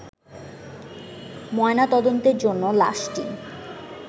ময়নাতদন্তের জন্য লাশটি